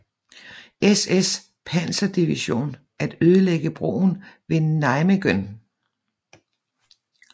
SS Panserdivision at ødelægge broen ved Nijmegen